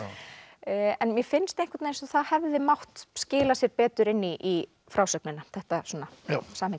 en mér finnst eins og það hefði mátt skila sér betur inn í frásögnina þetta samhengi